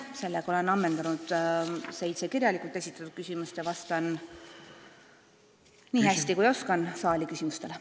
Sellega olen ammendanud seitse kirjalikku küsimust ja vastan, nii hästi kui oskan, saali küsimustele.